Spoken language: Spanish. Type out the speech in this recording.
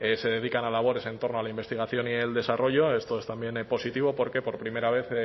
se dedican a labores en torno a la investigación y el desarrollo esto es también positivo porque por primera vez